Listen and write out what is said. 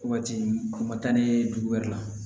Waati o ma taa ni dugu wɛrɛ la